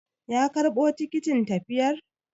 Ya karɓo tikitin tafiyar?